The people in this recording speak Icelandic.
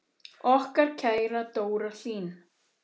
Okkar kæra Dóra Hlín.